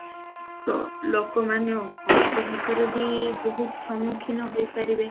ଲୋକମାନେ ଅଂଶୁଘାତରେ ବି ବହୁତ ସମୁଖୀନ ହୋଇପାରିବ